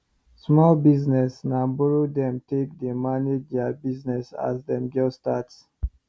small business na borrow them take dey manage there business as them just start